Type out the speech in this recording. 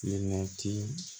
Waati